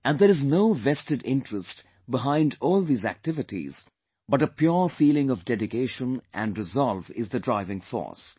And there is no vested interest behind all these activities but a pure feeling of dedication and resolve is the driving force